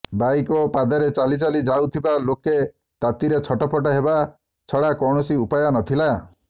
bike ଓ ପାଦରେ ଚାଲିଚାଲି ଯାଉଥିବା ଲୋକେ ତାତିରେ ଛଟପଟ ହେବା ଛଡ଼ା କୌଣସି ଉପାୟ ନ ଥିଲା